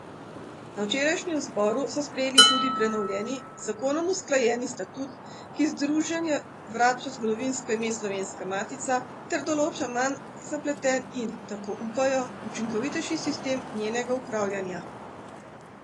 Na včerajšnjem zboru so sprejeli tudi prenovljeni, z zakonom usklajeni statut, ki združenju vrača zgodovinsko ime Slovenska matica ter določa manj zapleten in, tako upajo, učinkovitejši sistem njenega upravljanja.